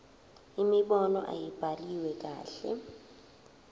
imibono ayibhaliwe kahle